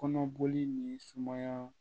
Kɔnɔboli ni sumaya